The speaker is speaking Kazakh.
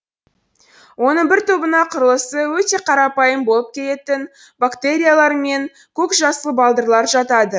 оның бір тобына құрылысы өте қарапайым болып келетін бактериялар мен көкжасыл балдырлар жатады